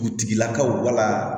Butigilakaw wala